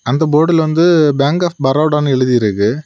அந்த போர்டுல வந்து பேங்க் ஆப் பரோடா என்று எழுதி இருக்கு.